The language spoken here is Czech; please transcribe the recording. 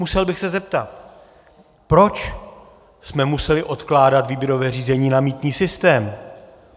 Musel bych se zeptat, proč jsme museli odkládat výběrové řízení na mýtný systém?